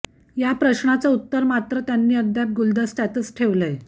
या प्रश्नाचं उत्तर मात्र त्यांनी अद्याप गुलदस्त्यातच ठेवलंय